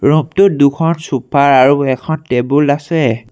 Room টোত দুখন sofa আৰু এখন টেবুল আছে।